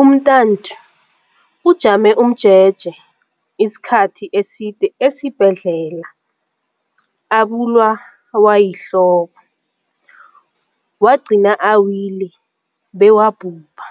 Umntanthu ujame umjeje isikhathi eside esibhedlela abulawa yihloko, wagcina awile bewabhubha.